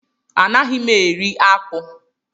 Anaghị mụ eri akpụ.